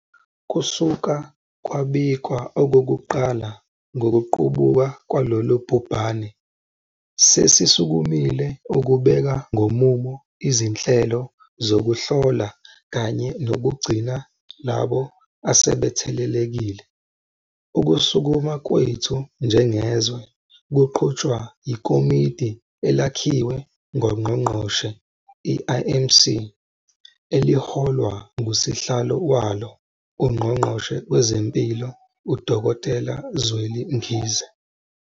Kusuka kwabikwa okokuqala ngokuqubuka kwalolu bhubhane sesisukumile ukubeka ngomumo izinhlelo zokuhlola kanye nokugcina labo asebethelelekile. Ukusukuma kwethu njengezwe kuqhutshwa iKomidi Elakhiwe Ngongqongqoshe, i-IMC, eliholwa ngusihlalo walo uNgqongqoshe Wezempilo, uDkt Zweli Mkhize.